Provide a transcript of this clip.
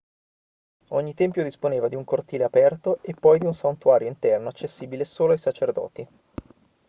ogni tempio disponeva di un cortile aperto e poi di un santuario interno accessibile solo ai sacerdoti